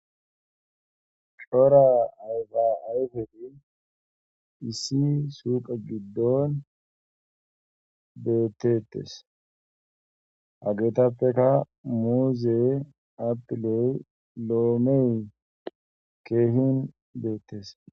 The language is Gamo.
Shora ayfa ayfei issi suuqa giddon beettettes hageetappeka muuze apiley loomey keehin beettes.